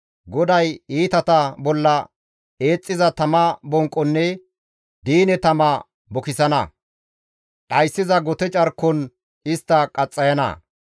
GODAY iitata bolla eexxiza tama bonqonne diine tama bukisana. Dhayssiza gote carkon istta qaxxayana.